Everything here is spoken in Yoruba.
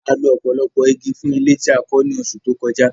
A lo ọ̀pọ̀lọpọ̀ igi fún ilé tí a kọ́ ní oṣù tó kọjá